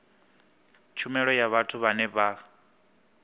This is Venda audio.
tshumelo ya vhathu vhane vha